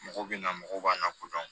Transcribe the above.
Mɔgɔw bɛ na mɔgɔw b'an lakodɔn